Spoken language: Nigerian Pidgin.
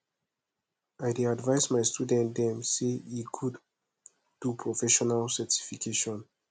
i dey advice my student dem sey e good do professional certification